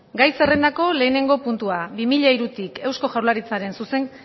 gai zerrendako lehenengo puntua bi mila hirutik euzko jaurlaritzaren